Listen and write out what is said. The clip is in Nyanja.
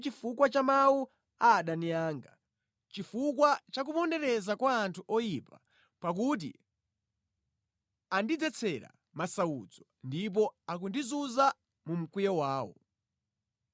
chifukwa cha mawu a adani anga, chifukwa cha kupondereza kwa anthu oyipa; pakuti andidzetsera masautso ndipo akundizunza mu mkwiyo wawo.